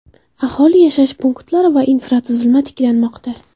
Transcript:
Aholi yashash punktlari va infratuzilma tiklanmoqda.